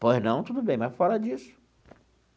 Pois não, tudo bem, mas fora disso.